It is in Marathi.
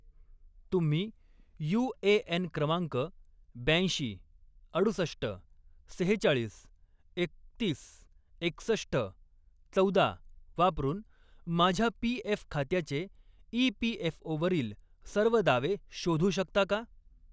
तुम्ही यू.ए.एन. क्रमांक ब्याऐंशी, अडुसष्ट, सेहेचाळीस, एकतीस, एकसष्ट, चौदा वापरून माझ्या पी.एफ. खात्याचे ई.पी.एफ.ओ.वरील सर्व दावे शोधू शकता का?